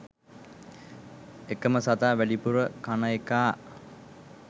එකම සතා වැඩිපුර කන එකා